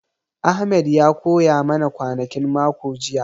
Ahmed ya koya ma na kwanakin mako jiya